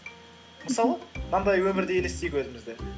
мысалы мынандай өмірде елестейік өзімізді